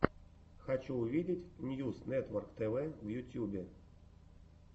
хочу увидеть ньюс нетворктв в ютьюбе